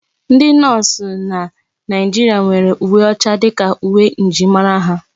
Ndi nọọsụ na Naijiria nwere uwe ọcha dịka uwe njirimara ha.